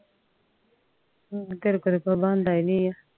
ਫੇਰ ਤੇਰੇ ਕੋਲ ਕੋਈ ਬੰਦਾ ਏ ਨੀ ਆ